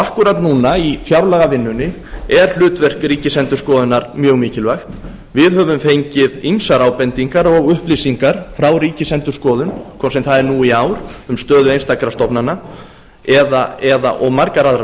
akkúrat núna í fjárlagavinnunni er hlutverk ríkisendurskoðunar mjög mikilvægt við höfum fengið ýmsar ábendingar og upplýsingar frá ríkisendurskoðun hvort sem það er nú í ár um stöðu einstakra stofnana og margar aðrar